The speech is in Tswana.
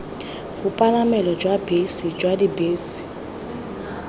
bopalamelo jwa bese jwa dibese